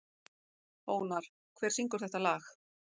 Ónar, hver syngur þetta lag?